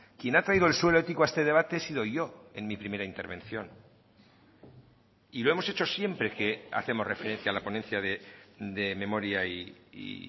quien ha traído el suelo ético a este debate he sido yo en mi primera intervención y lo hemos hecho siempre que hacemos referencia a la ponencia de memoria y